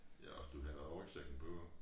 Ja og du skal have rygsækken på